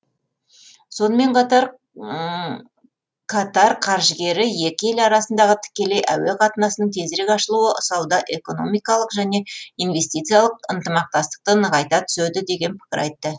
сонымен қатар катар қаржыгері екі ел арасындағы тікелей әуе қатынасының тезірек ашылуы сауда экономикалық және инвестициялық ынтымақтастықты нығайта түседі деген пікір айтты